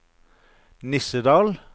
Nissedal